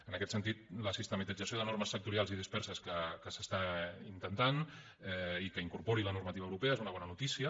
en aquest sentit la sistematització de normes sectorials i disperses que s’està intentant i que incorpori la normativa europea és una bona notícia